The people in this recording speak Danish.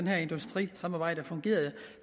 her industrisamarbejde fungerede